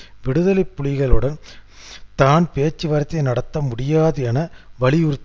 இராஜபக்ஷவும் இராணுவமும் அவநம்பிக்கையான நிலையில் உள்ளனர்